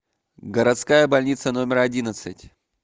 городская больница номер одиннадцать